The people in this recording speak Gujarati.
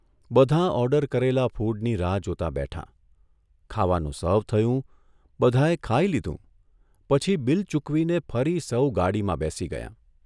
બધાં ઓર્ડર કરેલા ફૂડની રાહ જોતાં બેઠાં, ખાવાનું સર્વ થયું બધાંએ ખાઇ લીધું પછી બિલ ચૂકવીને ફરી સૌ ગાડીમાં બેસી ગયાં.